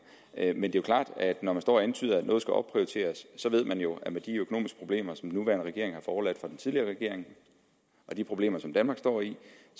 men det er klart at når man står og antyder at noget skal opprioriteres så ved vi jo at med de økonomiske problemer som den nuværende regering har fået overladt fra den tidligere regering og de problemer som danmark står i